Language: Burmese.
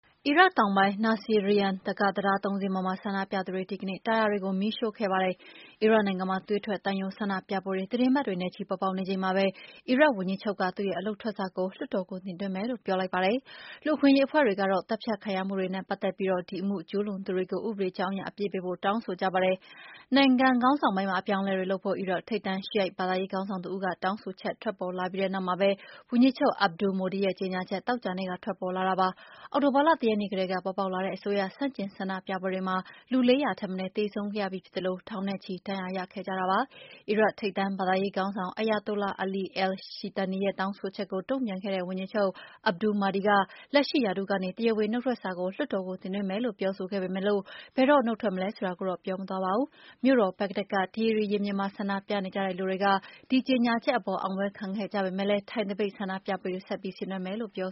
အီရတ်တောင်ပိုင်းမြို့ Nasiriyah က တံတား ၃ စင်းပေါ်မှာ ဆန္ဒပြသူတွေက ဒီကနေ့ တာယာတွေကို မီးရှို့ခဲ့ကြပါတယ်။ အီရတ်နိုင်ငံမှာ သွေးထွက်သံယို ဆန္ဒပြပွဲတွေ သီတင်းပတ်တွေနဲ့ချီ ပေါ်ပေါက်နေချိန်မှာပဲ အီရတ်ဝန်ကြီးချုပ်က သူ့ရဲ့အလုပ်ထွက်စာကို လွှတ်တော်ကို တင်သွင်းမယ်လို့ ပြောပါတယ်။ လူ့အခွင့်အရေး အဖွဲ့တွေကတော့ သတ်ဖြတ်ခံရမှုတွေနဲ့ ပတ်သက်ပြီး ဒီအမှုကျူးလွန်သူတွေကို ဥပဒေကြောင်းအရ အပြစ်ပေးဖို့ တောင်းဆိုကြပါတယ်။ နိုင်ငံခေါင်းဆောင်ပိုင်းမှာ အပြောင်းအလဲတွေလုပ်ဖို့ အီရတ် ထိပ်တန်း Shiite ဘာသာရေးခေါင်းဆောင်တဦးက တောင်းဆိုချက် ထွက်ပေါ်လာပြီးတဲ့နောက်မှာပဲ ဝန်ကြီးချုပ် Abdul-Mahdi ရဲ့ ကြေညာချက် သောကြာနေ့က ထွက်ပေါ်လာတာပါ။ အောက်တိုဘာလ ၁ ရက်နေ့ကတည်းက ပေါ်ပေါက်လာတဲ့ အစိုးရဆန့်ကျင် ဆန္ဒပြပွဲတွေမှာ လူ ၄၀၀ ထက်မနည်း သေဆုံးခဲ့ရပြီးဖြစ်သလို ထောင်နဲ့ချီ ဒဏ်ရာရခဲ့ကြတာပါ။ အီရတ် ထိပ်တန်းဘာသာရေးခေါင်းဆောင် Ayatollah Ali Al-Sistani ရဲ့ တောင်းဆိုချက်ကို တုံ့ပြန်ခဲ့တဲ့ ဝန်ကြီးချုပ် Abdul-Mahdi က လက်ရှိရာထူးကနေ တရာဝင်နုတ်ထွက်စာကို လွှတ်တော်ကို တင်သွင်းမယ်လို့ ပြောဆိုခဲ့ပေမယ့် ဘယ်တော့ နုတ်ထွက်မလဲ ဆိုတာကိုတော့ ပြောမသွားပါဘူး။ မြို့တော် ဘဂ္ဂဒက်က တီဟီရီရင်ပြင်မှာ ဆန္ဒပြနေကြတဲ့လူတွေ ဒီကြေညာချက်အပေါ် အောင်ပွဲခံခဲ့ကြပေမယ့် ထိုင်သပိတ် ဆန္ဒပြပွဲတွေကိုတော့ ဆင်နွှဲမယ်လို့ ပြော